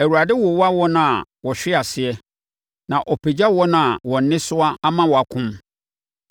Awurade wowa wɔn a wɔhwe ase na ɔpagya wɔn a wɔn nnesoa ama wɔakom.